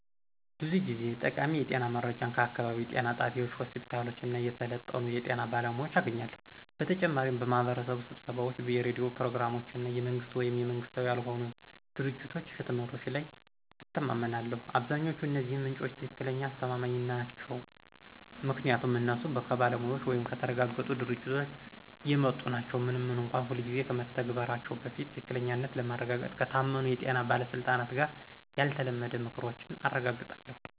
ብዙ ጊዜ ጠቃሚ የጤና መረጃን ከአካባቢው ጤና ጣቢያዎች፣ ሆስፒታሎች እና የሰለጠኑ የጤና ባለሙያዎች አገኛለሁ። በተጨማሪም በማህበረሰብ ስብሰባዎች፣ የሬዲዮ ፕሮግራሞች እና የመንግስት ወይም መንግሥታዊ ያልሆኑ ድርጅቶች ህትመቶች ላይ እተማመናለሁ። አብዛኛዎቹ እነዚህ ምንጮች ትክክለኛ አስተማማኝ ናቸው ምክንያቱም እነሱ ከባለሙያዎች ወይም ከተረጋገጡ ድርጅቶች የመጡ ናቸው፣ ምንም እንኳን ሁልጊዜ ከመተግበራቸው በፊት ትክክለኛነትን ለማረጋገጥ ከታመኑ የጤና ባለስልጣናት ጋር ያልተለመደ ምክሮችን አረጋግጣለሁ።